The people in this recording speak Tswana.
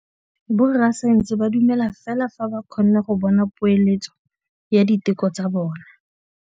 Borra saense ba dumela fela fa ba kgonne go bona poeletsô ya diteko tsa bone.